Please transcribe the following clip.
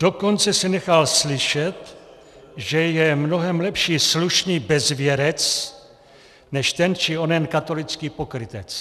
Dokonce se nechal slyšet, že je mnohem lepší slušný bezvěrec než ten či onen katolický pokrytec.